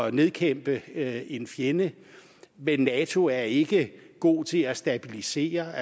at nedkæmpe en fjende men nato er ikke god til at stabilisere